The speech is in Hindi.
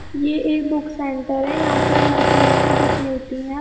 ये एक बुक सेंटर है यहाँ पर हर तरह की बुक मिलती है।